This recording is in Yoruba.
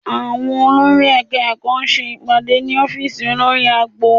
Àwọn olórí Ẹ̀ka-ẹ̀kọ́ ṣe ìpàdé ní ọ́fíìsì olórí agbo